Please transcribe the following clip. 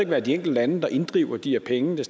være de enkelte lande der inddriver de her penge det